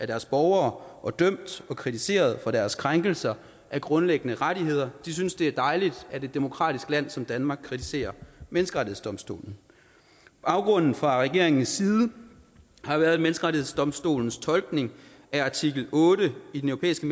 deres borgere og dømt og kritiseret for deres krænkelser af grundlæggende rettigheder synes det er dejligt at et demokratisk land som danmark kritiserer menneskerettighedsdomstolen baggrunden fra regeringens side har været at menneskerettighedsdomstolens tolkning af artikel otte i den europæiske